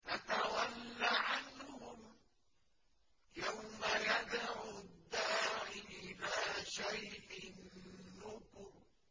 فَتَوَلَّ عَنْهُمْ ۘ يَوْمَ يَدْعُ الدَّاعِ إِلَىٰ شَيْءٍ نُّكُرٍ